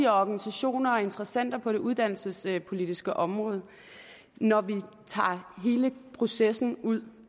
organisationerne og interessenterne på det uddannelsespolitiske område når vi tager hele processen ud